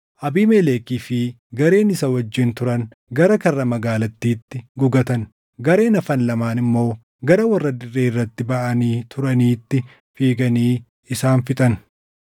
Abiimelekii fi gareen isa wajjin turan gara karra magaalattiitti gugatan. Gareen hafan lamaan immoo gara warra dirree irratti baʼanii turaniitti fiiganii isaan fixan.